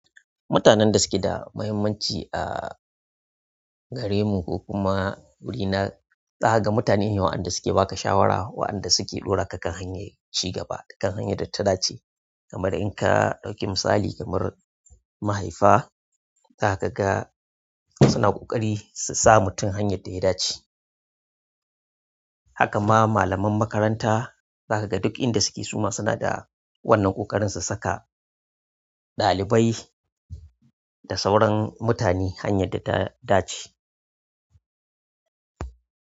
Mutanen da suke da mahimmanci a, gare mu ko kuma wuri na zaka ga mutane ne waɗanda suke baka shawara, waɗanda suke ɗora ka kan hanyar ci gaba, kan hanyar da ta dace. Kamar in ka ɗauki misali kamar mahaifa, za ka ga suna ƙoƙari su sa mutum hanyar da ya dace. Haka ma malaman makaranta za ka ga duk inda suke suma suna da wannan ƙoƙarin su saka ɗalibai da sauran mutane hanyar da ta dace.